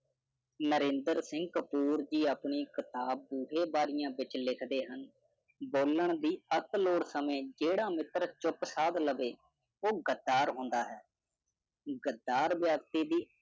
ਨਰਿੰਦਰ ਸਿੰਘ ਕਪੂਰ ਜੀ ਆਪਣੀ ਕਿਤਾਬ ਬੂਹੇ ਬਾਰੀਆਂ ਵਿੱਚ ਲਿਖਦੇ ਹਨ, ਬੋਲਣ ਦੀ ਅੱਤ ਲੋੜ ਸਮੇਂ ਜਿਹੜਾ ਮਿੱਤਰ ਚੁੱਪ ਸਾਧ ਲਵੇ, ਉਹ ਗੱਦਾਰ ਹੁੰਦਾ ਹੈ। ਗੱਦਾਰ ਵਿਅਕਤੀ ਦੀ